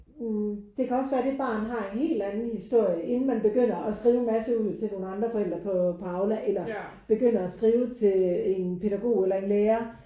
Hm det kan også være det barn har en helt anden historie inden man begynder at skrive en masse ud til nogen andre forældre på på Aula eller begynder at skrive til en pædagog eller en lærer